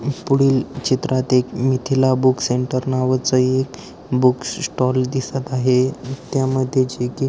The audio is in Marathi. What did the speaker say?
पुढील चित्रात एक मिथिला बुक सेंटर नावाचं एक बुक स्टॉल दिसत आहे त्या मध्ये जी की--